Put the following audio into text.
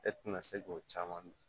E tɛna se k'o caman